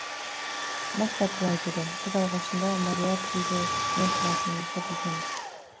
моффат былай дейді біз алғашында мориартиге не қылатынымызды білгенбіз